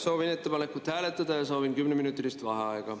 Soovin ettepanekut hääletada ja soovin 10-minutilist vaheaega.